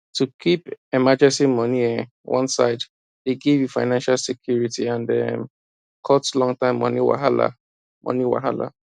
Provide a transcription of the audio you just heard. to keep emergency money um one side dey give you financial security and um cut longterm money wahala money wahala